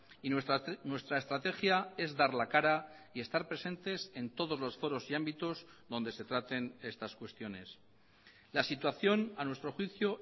y nuestra estrategia es dar la cara y estar presentes en todos los foros y ámbitos donde se traten estas cuestiones la situación a nuestro juicio